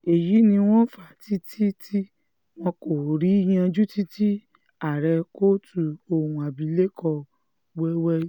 èyí ni wọ́n fa tiiti tí wọn kò rí yanjú títí tí ààrẹ kóòtù ohun abilékọ wẹ́wẹ́